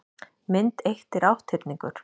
mynd eitt er átthyrningur